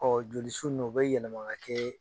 Ɔ jolisu ninnu o bɛ yɛlɛma ka kɛ